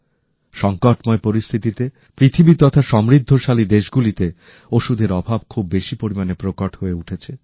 সংকটময় পরিস্থিতিতে পৃথিবী তথা সমৃদ্ধশালী দেশগুলিতে ওষুধের অভাব খুব বেশি পরিমাণে প্রকট হয়ে উঠেছে